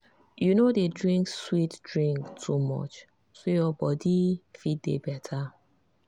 you no dey drink sweet drink too much so your body fit dey better.